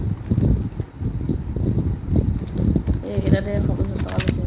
এইকেইটাত এশ পঞ্চাশ টকা লৈছে ।